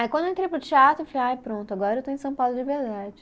Aí quando eu entrei para o teatro, eu falei, ai pronto, agora eu estou em São Paulo de verdade.